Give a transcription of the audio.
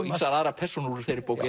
ýmsar aðrar persónur úr þeirri bók